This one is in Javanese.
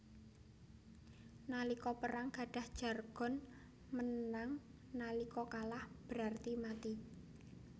Nalika perang gadah jargon Menang nalika kalah berarti mati